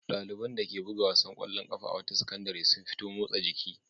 Ɗaliban dake buga wasan ƙwallon ƙafa a wata sakandare sun fito motsa jiki.